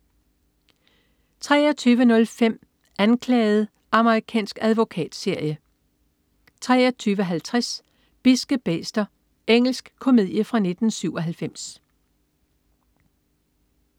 23.05 Anklaget. Amerikansk advokatserie 23.50 Bidske bæster. Engelsk komedie fra 1997